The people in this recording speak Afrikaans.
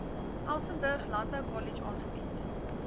elsenburg landboukollege aangebied